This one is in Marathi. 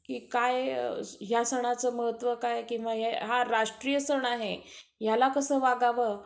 की काय, ह्या सणाचं महत्व काय, किंवाहा राष्ट्रीय सण आहे, ह्याला कसं वागावं?